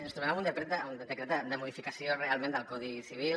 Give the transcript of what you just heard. ens trobem amb un decret de modificació realment del codi civil